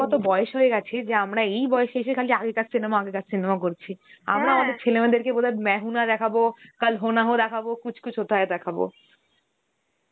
কত বয়স হয় গেছে যে আমরা এই বয়সে এসে খালি আগেকার cinema, আগেকার cinema করছি. আমরা আমাদের ছেলে মেয়েদেরকে বোধয় Hindi দেখাবো, Hindi দেখাবো, Hindi দেখাবো.